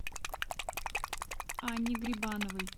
анне грибановой